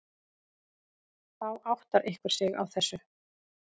Þá áttar einhver sig á þessu.